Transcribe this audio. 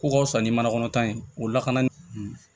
Ko ka wusa ni manakɔnɔ tan ye o lakana